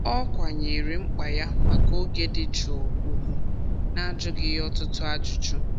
Ọ kwanyeere mkpa ya maka oge dị jụụ ugwu najụghị ya ọtụtụ ajụjụ.